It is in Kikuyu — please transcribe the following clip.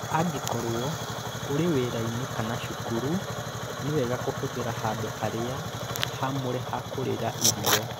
Angĩkorũo ũrĩ wĩra-inĩ kana cukuru, nĩ wega kũhũthĩra handũ harĩa haamũre ha kũrĩĩra irio.